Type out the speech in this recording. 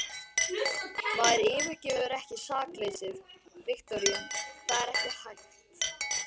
Maður yfirgefur ekki sakleysið, Viktoría, það er ekki hægt.